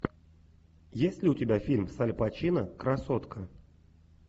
есть ли у тебя фильм с аль пачино красотка